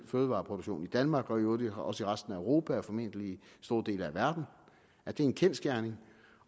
fødevareproduktion i danmark og i øvrigt også i resten af europa og formentlig i store dele af verden at det er en kendsgerning